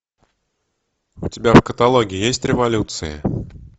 у тебя в каталоге есть революция